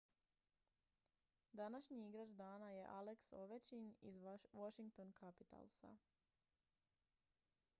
današnji igrač dana je alex ovechkin iz washington capitalsa